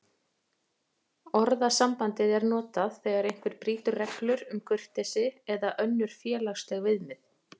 Orðasambandið er notað þegar einhver brýtur reglur um kurteisi eða önnur félagsleg viðmið.